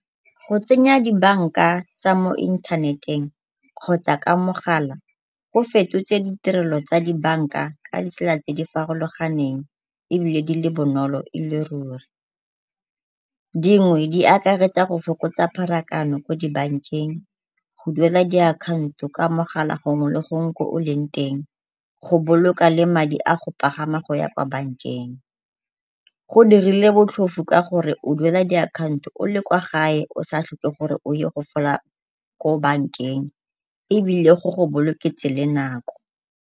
Go tsenya dibanka tsa mo inthaneteng kgotsa ka mogala go fetotse ditirelo tsa dibanka ka ditsela tse di farologaneng ebile di le bonolo e le ruri. Dingwe di akaretsa go fokotsa pharakano ko dibankeng, go duela diakhaonto ka mogala gongwe le gongwe ko o leng teng, go boloka le madi a go pagama go ya kwa bankeng. Go dirilwe botlhofo ka gore o duela diakhaonto o le kwa gae o sa tlhoke gore o ye go fola ko bankeng ebile go go boloketse le nako.